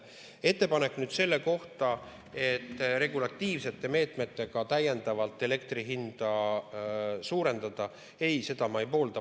Ettepanek selle kohta, et regulatiivsete meetmetega täiendavalt elektri hinda suurendada – ei, seda ma ei poolda.